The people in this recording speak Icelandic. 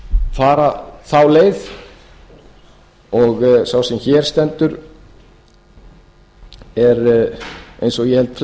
fara þá leið sá sem hér stendur er eins og held ég flestir ef